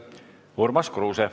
Urmas Kruuse.